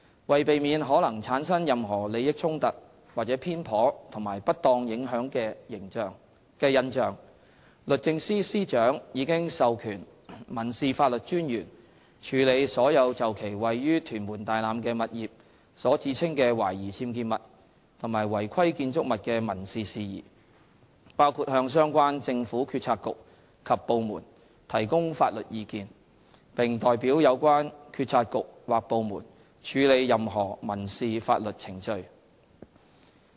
為避免可能產生任何利益衝突或偏頗和不當影響的印象，律政司司長已授權民事法律專員處理所有就其位於屯門大欖的物業所指稱的懷疑僭建物及違規建築物的民事事宜，包括向相關政府政策局及部門提供法律意見，並代表有關政策局或部門處理任何民事法律程序。